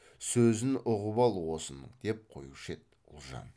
сөзін ұғып ал осынын деп қоюшы еді ұлжан